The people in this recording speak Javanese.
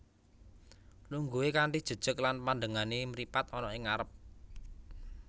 Lungguhe kanthi jejeg lan pandengane mripat ana ing ngarep